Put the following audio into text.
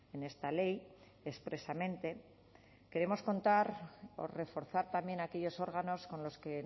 en esta ley expresamente queremos contar o reforzar también aquellos órganos con los que